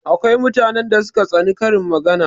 Akwai mutanen da suka tsani karin magana